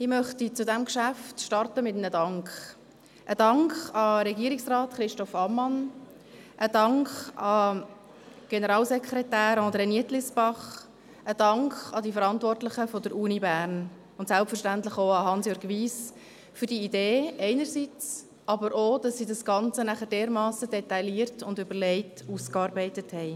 Ich möchte zu diesem Geschäft mit einem Dank beginnen – einem Dank an Regierungsrat Christoph Ammann, einem Dank an den Generalsekretär André Nietlisbach, einem Dank an die Verantwortlichen der Universität Bern, selbstverständlich auch an Hansjörg Wyss, einerseits für die Idee, andererseits auch dafür, dass er das Ganze dermassen detailliert und überlegt ausgearbeitet hat.